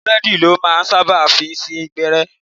Búlèèdì lọ́ máa ń sábà fi ń sín gbẹ́rẹ́